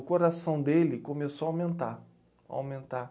O coração dele começou a aumentar, aumentar